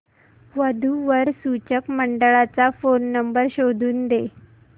वधू वर सूचक मंडळाचा फोन नंबर शोधून दे